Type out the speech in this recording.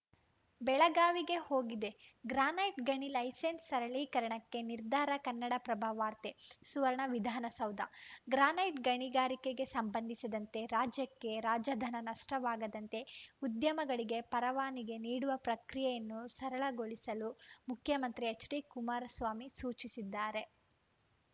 ಬೆಳಗಾವಿಗೆ ಹೋಗಿದೆ ಗ್ರಾನೈಟ್‌ ಗಣಿ ಲೈಸನ್ಸ್‌ ಸರಳೀಕರಣಕ್ಕೆ ನಿರ್ಧಾರ ಕನ್ನಡಪ್ರಭ ವಾರ್ತೆ ಸುವರ್ಣ ವಿಧಾನಸೌಧ ಗ್ರಾನೈಟ್‌ ಗಣಿಗಾರಿಕೆಗೆ ಸಂಬಂಧಿಸಿದಂತೆ ರಾಜ್ಯಕ್ಕೆ ರಾಜಧನ ನಷ್ಟವಾಗದಂತೆ ಉದ್ಯಮಗಳಿಗೆ ಪರವಾನಿಗೆ ನೀಡುವ ಪ್ರಕ್ರಿಯೆಯನ್ನು ಸರಳಗೊಳಿಸಲು ಮುಖ್ಯಮಂತ್ರಿ ಎಚ್‌ಡಿಕುಮಾರಸ್ವಾಮಿ ಸೂಚಿಸಿದ್ದಾರೆ